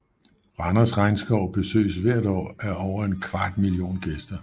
Randers Regnskov besøges hvert år af over en kvart million gæster